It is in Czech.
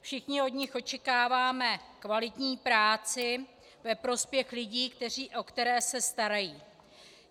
Všichni od nich očekáváme kvalitní práci ve prospěch lidí, o které se starají.